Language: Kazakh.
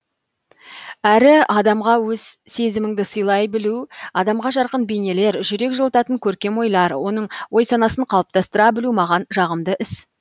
әрі адамға өз сезіміңді сыйлай білу адамға жарқын бейнелер жүрек жылытатын көркем ойлар оның ой санасын қалыптастыра білу маған жағымды іс